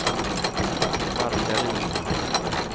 Markaryd